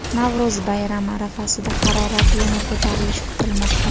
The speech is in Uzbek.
Navro‘z bayrami arafasida harorati yana ko‘tarilishi kutilmoqda.